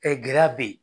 gɛlɛya bɛ yen